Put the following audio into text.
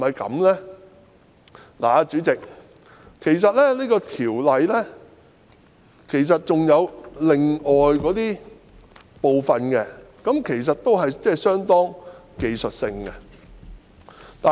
代理主席，《條例草案》還有其他部分其實都是相當技術性的修訂。